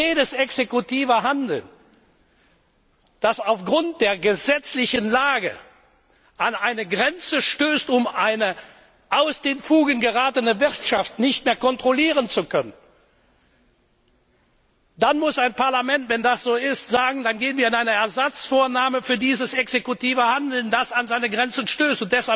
Bei jedem exekutiven Handeln, das aufgrund der gesetzlichen Lage an eine Grenze stößt, um eine aus den Fugen geratene Wirtschaft nicht mehr kontrollieren zu können, muss ein Parlament, wenn das so ist, sagen Dann gehen wir in eine Ersatzvornahme für dieses exekutive Handeln, das an seine Grenzen stößt.